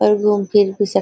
और घूम फिर के सब --